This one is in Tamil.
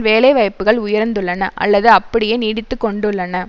வேலைவாய்ப்புக்கள் உயர்ந்துள்ளன அல்லது அப்படியே நீடித்து கொண்டுள்ளன